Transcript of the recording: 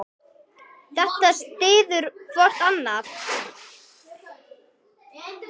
Þetta styður hvort annað.